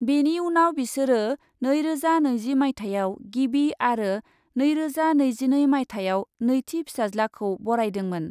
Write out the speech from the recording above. बेनि उनाव बिसोरो नैरोजा नैजि माइथायाव गिबि आरो नैरोजा नैजिनै माइथायाव नैथि फिसाज्लाखौ बरायदोंमोन।